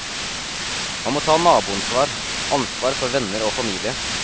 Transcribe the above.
Man må ta naboansvar, ansvar for venner og familie.